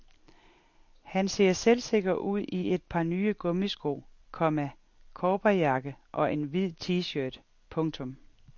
Han ser selvsikker ud i et par nye gummisko, komma cowboyjakke og en hvid tshirt. punktum